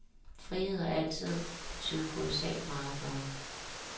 Frihed har altid betydet kolossalt meget for ham.